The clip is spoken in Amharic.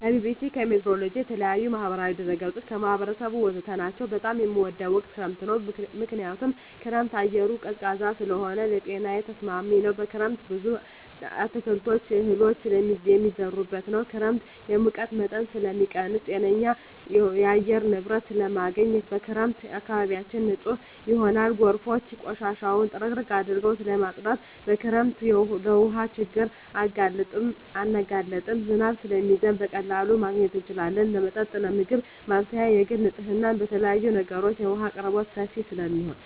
ከቢቢሲ, ከሜትሮሎጅ, ከተለያዪ የማህበራዊ ድረ ገፆች , ከህብረተሰቡ ወዘተ ናቸው። በጣም የምወደው ወቅት ክረምት ነው ምክንያቱም በክረምት አየሩ ቀዝቃዛ ስለሆነ ለጤናዬ ተስማሚ ነው። በክረምት ብዙ አትክልቶች እህሎች የሚዘሩበት ነው። ክረምት የሙቀት መጠንን ስለሚቀንስ ጤነኛ የአየር ንብረት ስለማገኝ። በክረምት አካባቢያችን ንፁህ ይሆናል ጎርፎች ቆሻሻውን ጥርግርግ አድርገው ስለማፀዱት። በክረምት ለውሀ ችግር አንጋለጥም ዝናብ ስለሚዘንብ በቀላሉ ማግኘት እንችላለን ለመጠጥ ለምግብ ማብሰያ ለግል ንፅህና ለተለያዪ ነገሮች የውሀ አቅርቦት ሰፊ ስለሚሆን።